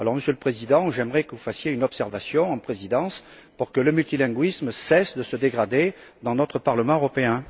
Monsieur le Président, j'aimerais donc que vous fassiez une observation à la présidence pour que le multilinguisme cesse de se dégrader dans notre Parlement européen.